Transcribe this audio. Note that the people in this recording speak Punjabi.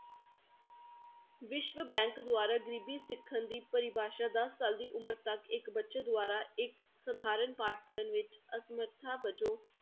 ਵਿਸ਼ਵ bank ਦੁਆਰਾ ਗ਼ਰੀਬੀ ਸਿੱਖਣ ਦੀ ਪਰਿਭਾਸ਼ਾ ਦਸ ਸਾਲ ਦੀ ਉਮਰ ਤੱਕ ਇੱਕ ਬੱਚੇ ਦੁਆਰਾ ਇੱਕ ਸਾਧਾਰਨ ਪਾਠ ਪੜ੍ਹਣ ਵਿੱਚ ਅਸਮਰਥਾ ਵਜੋਂ